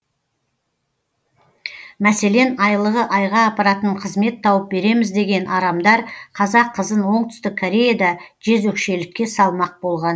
мәселен айлығы айға апаратын қызмет тауып береміз деген арамдар қазақ қызын оңтүстік кореяда жезөкшелікке салмақ болған